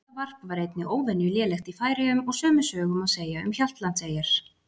Lundavarp var einnig óvenju lélegt í Færeyjum og sömu sögu má segja um Hjaltlandseyjar.